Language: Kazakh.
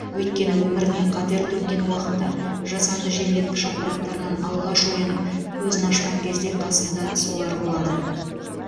өйткені өміріне қатер төнген уақытта жасанды желдеткіш аппараттарынан алғаш оянып көзін ашқан кезде қасында солар болады